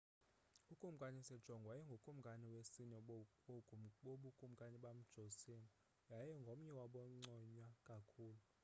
ukumkani sejong wayengukumkani wesine wobukumkani bamjoseon yaye ngomnye wabanconywa kakhulu